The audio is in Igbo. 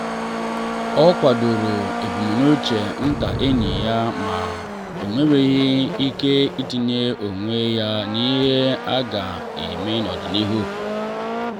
o kwadoro ebumnuche nta enyi ya ma o mewaghị ike itinye onwe ya n’ihe a ga-eme n’ọdịnihu.